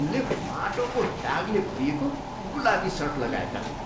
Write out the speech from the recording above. उनले माटोको दागले भरिएको गुलाबी सर्ट लगाएका थिए।